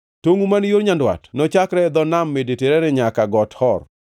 Tongʼu man yo nyandwat nochakre e dho Nam Mediterania nyaka e Got Hor